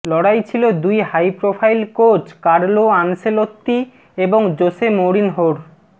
লড়াই ছিল দুই high profile coach Carlo Ancelotti এবং জোসে মৌরিনহোর